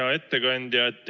Hea ettekandja!